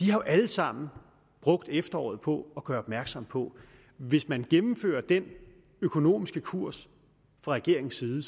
jo alle sammen brugt efteråret på at gøre opmærksom på at hvis man gennemfører den økonomiske kurs fra regeringens side